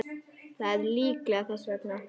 Það er líklega þess vegna.